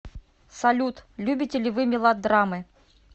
салют любите ли вы мелодрамы